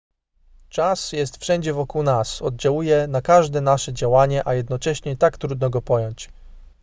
czas jest wszędzie wokół nas oddziałuje na każde nasze działanie a jednocześnie tak trudno go pojąć